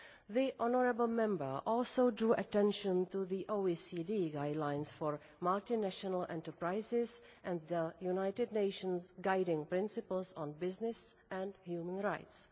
The honourable Member also drew attention to the OECD Guidelines for Multinational Enterprises and the United Nations Guiding Principles on Business and Human Rights.